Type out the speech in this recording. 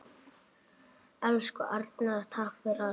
Elsku Arnar, takk fyrir allt.